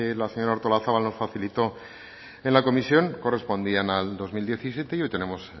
la señora artolazabal nos facilitó en la comisión correspondían al dos mil diecisiete y hoy tenemos